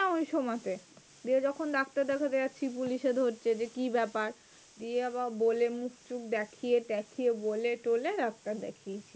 ওই সময় তে, দিয়ে যখন ডাক্তার দেখতে যাচ্ছি পুলিশে ধরছে, যে কি ব্যাপার? দিয়ে আবার বলে মুখ টুখ দেখিয়ে টেকিয়ে বলে টোলে তারপরে দেখিয়েছি।